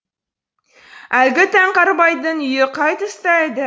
әлгі таңқарбайдың үйі қай тұста еді